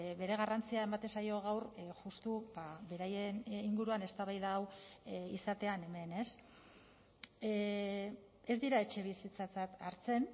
bere garrantzia ematen zaio gaur justu beraien inguruan eztabaida hau izatean hemen ez ez dira etxebizitzatzat hartzen